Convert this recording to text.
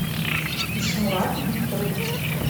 ишмурат викторович